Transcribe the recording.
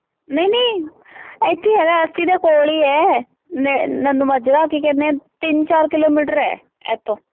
ਅੱਸੀ ਹੈਗਾ, ਅੱਸੀ ਦੇ ਕੋਲ ਹੀ ਹੈ, ਨੇ ਅਹ ਮਨੀਮਾਜ਼ਰਾ ਕੀ ਕਹਿੰਦੇ ਆ ਤਿੰਨ ਚਾਰ ਕਿਲੋਮੀਟਰ ਹੈ, ਇੱਥੋਂ